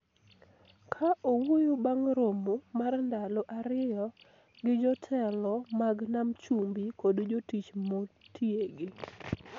Ka owuoyo bang� romo mar ndalo ariyo gi jotelo mag Nam Chumbi kod jotich motiegi,